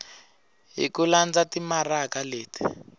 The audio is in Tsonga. hi ku landza timaraka leti